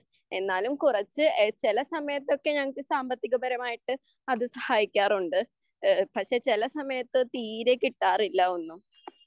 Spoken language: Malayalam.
എന്നാലും കുറച്ച് ചില സമയത്തൊക്കെ ഞങ്ങൾക്ക് സമ്പത്തികപരമായിട്ട് അത് സഹായിക്കാറുണ്ട് പക്ഷെ ചില സമയത്ത് തീരെ കിട്ടാറില്ല ഒന്നും